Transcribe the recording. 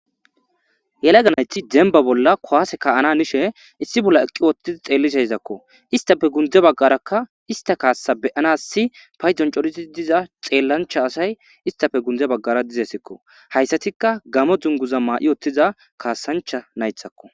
yelega nayti demba bolla kuwase ka7ana hanishe issi bolla eqqi wottiza xeelliseyzakko istafe gundze baggarakka ista kaassa beyanassi paydon coriti diza xeellancha asay istafe gundze baggara dizesekko hayssatikka gamo dzunguza maa7i ottiza kaasancha naythakko